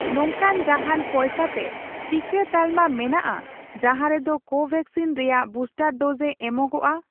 ᱱᱚᱝᱠᱟᱱ ᱡᱟᱦᱟᱱ ᱯᱚᱭᱥᱟᱛᱮ ᱴᱤᱠᱟᱹ ᱛᱟᱞᱢᱟ ᱢᱮᱱᱟᱜᱼᱟ ᱡᱟᱦᱟᱸ ᱨᱮᱫᱚ ᱠᱳᱵᱷᱮᱠᱥᱤᱱ ᱨᱮᱭᱟᱜ ᱵᱩᱥᱴᱟᱨ ᱰᱳᱡᱽ ᱮ ᱮᱢᱚᱜᱚᱜᱼᱟ